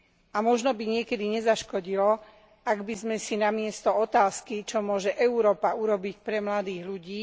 A možno by niekedy nezaškodilo, ak by sme si namiesto otázky Čo môže Európa urobiť pre mladých ľudí?